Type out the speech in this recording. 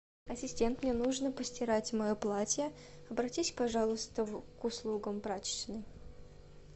ассистент мне нужно постирать мое платье обратись пожалуйста к услугам прачечной